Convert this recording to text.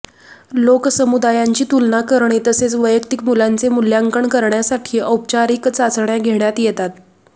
लोकसमुदायांची तुलना करणे तसेच वैयक्तिक मुलांचे मूल्यांकन करण्यासाठी औपचारिक चाचण्या घेण्यात येतात